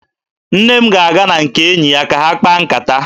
Nne m ga-aga na nke enyi ya ka ha kpaa nkata